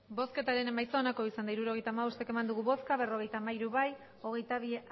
hirurogeita hamabost eman dugu bozka berrogeita hamairu bai hogeita bi